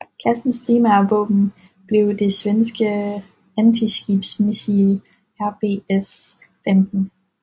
Klassens primære våben blev det svenske antiskibsmissil RBS15